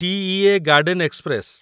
TEA garden express